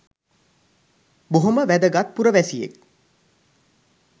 බොහොම වැදගත් පුරවැසියෙක්